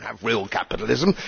We do not have real capitalism